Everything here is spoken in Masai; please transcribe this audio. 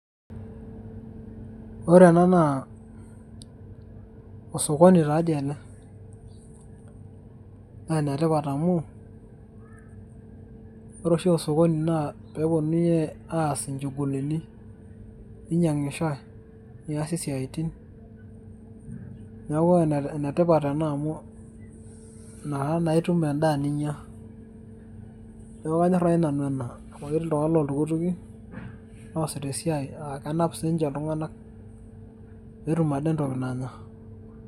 Ore ena naa osokoni tadii ena. Na enetipat amu, ore oshi osokoni na peponunui aas in. inchugulini. neinyang'ishoi, niasi siatin. Neeku enetipat ena amu nakata na itum endaa ninya. Neeku kanyor nai nanu ena amu ketii iltung'anak petumm ade entoii nanya.